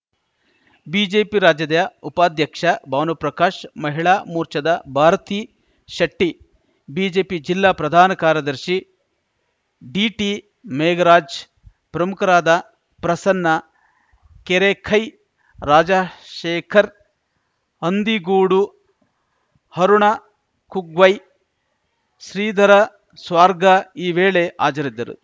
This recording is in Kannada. ಬಿಜೆಪಿ ರಾಜ್ಯದ ಉಪಾಧ್ಯಕ್ಷ ಭಾನುಪ್ರಕಾಶ್‌ ಮಹಿಳಾ ಮೋರ್ಚಾದ ಭಾರತಿ ಶೆಟ್ಟಿ ಬಿಜೆಪಿ ಜಿಲ್ಲಾ ಪ್ರಧಾನ ಕಾರ್ಯದರ್ಶಿ ಡಿಟಿಮೇಘರಾಜ್‌ ಪ್ರಮುಖರಾದ ಪ್ರಸನ್ನ ಕೆರೆಕೈ ರಾಜಶೇಖರ್‌ ಹಂದಿಗೋಡು ಹರುಣ ಕುಗ್ವೆ ಶ್ರೀಧರ ಸ್ವಾರ್ಗಾ ಈ ವೇಳೆ ಹಾಜರಿದ್ದರು